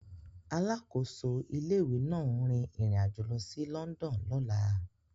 Alákòóso ilé-ìwé náà ń rin ìrìn àjò lọ sí London lọ́la.